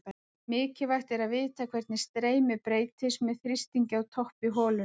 Mikilvægt er að vita hvernig streymið breytist með þrýstingi á toppi holunnar.